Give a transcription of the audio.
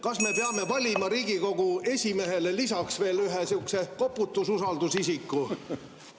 Kas me peame valima Riigikogu esimehele lisaks veel ühe sihukese koputususaldusisiku?